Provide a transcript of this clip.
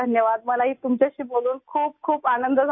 مجھے بھی آپ سے بات کرکے بہت خوشی ہوئی